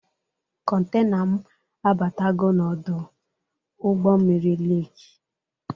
Kọntena m abatago n'ọdụ ụgbọ mmiri Leki.